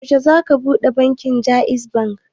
Yaushe za ka ɓuɗe asusu da jaiz bank?